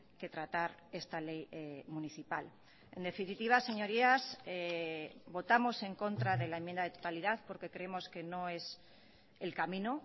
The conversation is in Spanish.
que tratar esta ley municipal en definitiva señorías votamos en contra de la enmienda de totalidad porque creemos que no es el camino